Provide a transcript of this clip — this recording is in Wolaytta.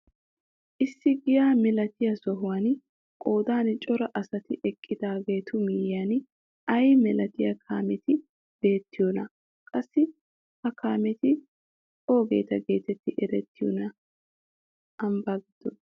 Issi giya milatiyaa sohuwaan qoodan cora asati eqqidaagetu miyiyaan ayi milatiyaa kaameti beettiyoonaa? qassi ha kaameti oogeta getetti erettiyoonaa ambbaa giddon?